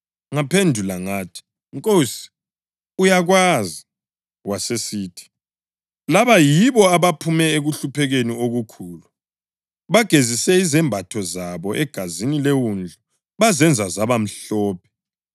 Ngaphendula ngathi, “Nkosi, uyakwazi.” Wasesithi, “Laba yibo abaphume ekuhluphekeni okukhulu; bagezise izembatho zabo egazini leWundlu bazenza zaba mhlophe.